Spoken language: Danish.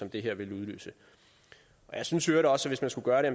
det her ville udløse jeg synes i øvrigt også hvis man skulle gøre det